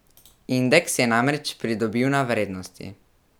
Indeks je namreč pridobil na vrednosti.